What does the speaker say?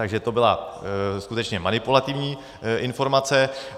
Takže to byla skutečně manipulativní informace.